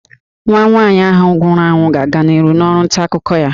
Nwa nwaanyị ahụ nwụrụ anwụ ga-aga n'ihu n'ọrụ nta akụkọ ya